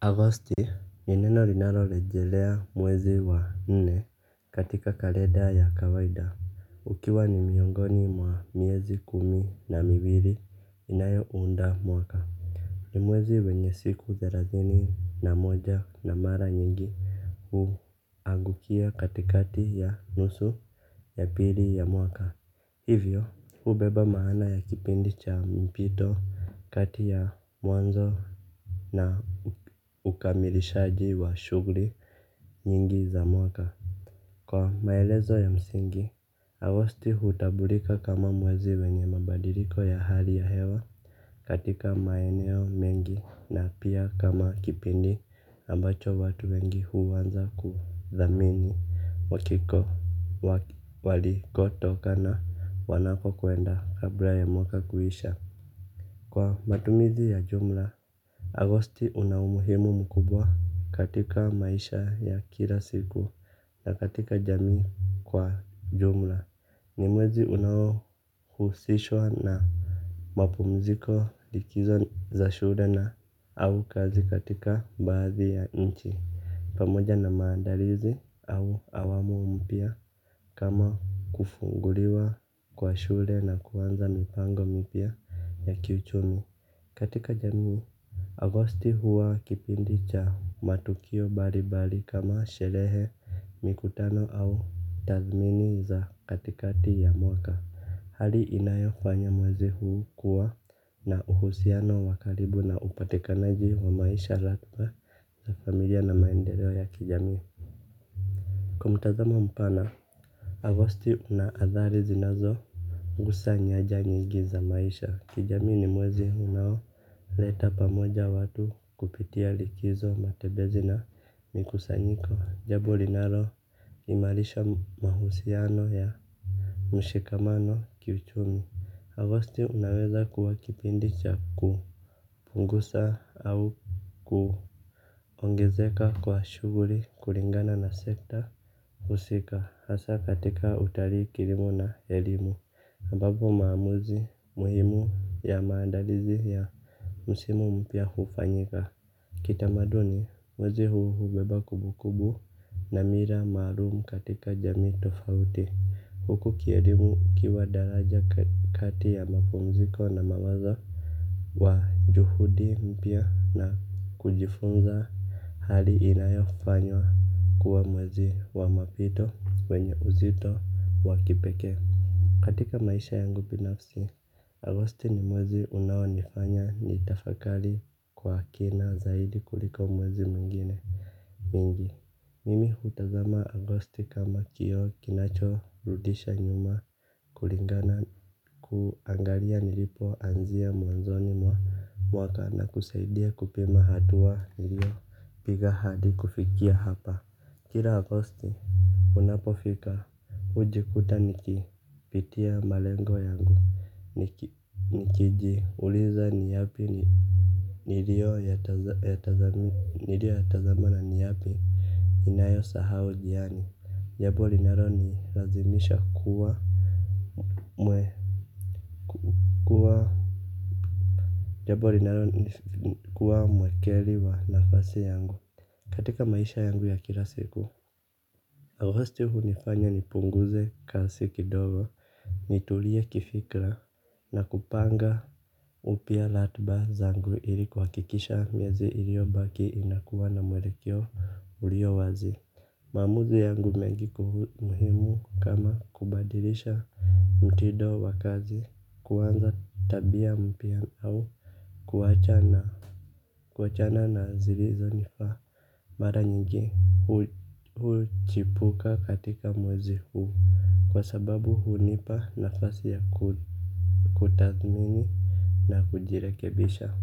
Agosti, ni neno linalorejelea mwezi wa nne katika kalenda ya kawaida ukiwa ni miongoni mwa miezi kumi na miwili inayounda mwaka. Ni mwezi wenye siku thelathini na moja na mara nyingi huangukia katikati ya nusu ya pili ya mwaka. Hivyo hubeba maana ya kipindi cha mpito kati ya mwanzo na ukamilishaji wa shugli nyingi za mwaka kwa maelezo ya msingi, Agosti hutambulika kama mwezi wenye mabadiliko ya hali ya hewa katika maeneo mengi na pia kama kipindi ambacho watu wengi huanza kuthamini walikotoka na wanapokwenda kabla ya mwaka kuisha. Kwa matumizi ya jumla Agosti una umuhimu mkubwa katika maisha ya kila siku na katika jamii kwa jumla. Ni mwezi unaohusishwa na mapumziko likizo za shule na au kazi katika baadhi ya nchi. Pamoja na maandalizi au awamu mpya kama kufunguliwa kwa shule na kuanza mipango mipya ya kiuchumi. Katika jamii, Agosti huwa kipindi cha matukio mbali mbali kama sherehe mikutano au tathmini za katikati ya mwaka. Hali inayofanya mwezi huu kuwa na uhusiano wa karibu na upatikanaji wa maisha laghba na familia na maendeleo ya kijamii. Kwa mtazamo mpana, Agosti una adhari zinazo gusa nyanja nyingi za maisha, kijamii ni mwezi unao leta pamoja watu kupitia likizo matembezi na mikusanyiko jambo linalo imarisha mahusiano ya mshikamano kiuchumi Agosti unaweza kuwa kipindi cha kupunguza au kuongezeka kwa shughuli kulingana na sekta husika hasa katika utalii kilimo na elimu ambapo maamuzi muhimu ya maandalizi ya msimu mpya hufanyika. Kitamaduni mwezi huu hubeba kumbukumbu na mila maalum katika jamii tofauti. Huku kielimu ukiwa daraja kati ya mapumziko na mawazo wa juhudi mpya na kujifunza hali inayofanywa kuwa mwezi wa mapito wenye uzito wa kipekee. Katika maisha yangu binafsi, Agosti ni mwezi unaonifanya nitafakari kwa kina zaidi kuliko mwezi mwingine. Mingi, mimi hutazama Agosti kama kioo kinachorudisha nyuma kulingana kuangalia nilipoanzia mwanzoni mwa mwaka na kusaidia kupima hatua niliopiga hadi kufikia hapa. Kila Agosti unapofika hujikuta nikipitia malengo yangu niki nikijiuliza ni yapi niliyo yataza. Nilioyatazama na ni yapi ninayo sahau njiani japo linalonilazimisha kuwa Mwe kuwa jambo linalo ni kuwa mwekeli wa nafasi yangu. Katika maisha yangu ya kila siku Agosti hunifanya nipunguze kasi kidogo. Nitulie kifikra na kupanga upya ratba zangu ili kuhakikisha miezi iliyobaki inakuwa na mwelekeo ulio wazi. Maamuzi yangu mengi muhimu kama kubadilisha mtindo wa kazi kuanza tabia mpya au kuacha na kuachana na zilizonifaa. Mara nyingi huchipuka katika mwezi huu kwa sababu hunipa nafasi ya kutathmini na kujirekebisha.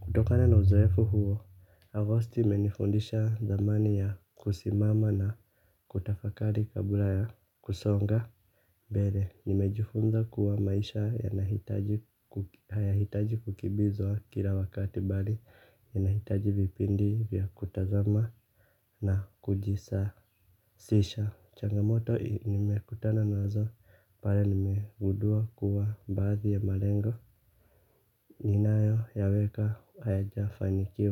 Kutokana na uzoefu huo, Agosti imenifundisha thamani ya kusimama na kutafakari kabla ya kusonga mbele, nimejifunza kuwa maisha yanahitaji ku hayahitaji kukimbizwa kila wakati bali yanahitaji vipindi vya kutazama na kujisa kisha changamoto, nimekutana nazo pale nimegundua kuwa baadhi ya malengo. Ninayoyaweka hayajafanikiwa.